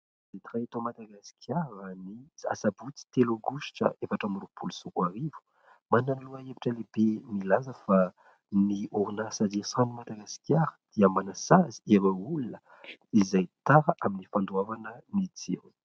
Gazety iray eto Madagasikara ny sabotsy telo aogositra efatra amby roapolo sy roa arivo. Manana ny lohahevitra lehibe milaza fa ny orinasa Jiro sy Rano eto Madagasikara dia manasazy ireo olona izay tara amin'ny fandoavana ny jiro.